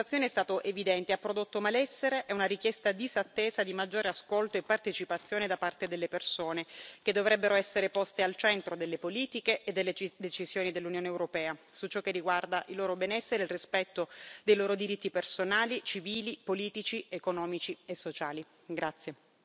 Il fallimento di questa impostazione è stato evidente e ha prodotto malessere e una richiesta disattesa di maggiore ascolto e partecipazione da parte delle persone, che dovrebbero essere poste al centro delle politiche e delle decisioni dell'Unione europea, su ciò che riguarda il loro benessere, il rispetto dei loro diritti personali, civili, politici, economici e sociali.